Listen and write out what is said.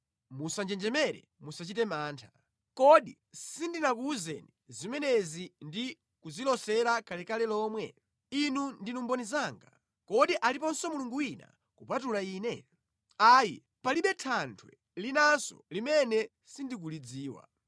Musanjenjemere, musachite mantha. Kodi sindinakuwuzeni zimenezi ndi kuzilosera kalekale lomwe? Inu ndinu mboni zanga. Kodi aliponso Mulungu wina kupatula Ine? Ayi, palibe Thanthwe linanso limene sindikulidziwa.”